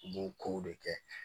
U b'o kow de kɛ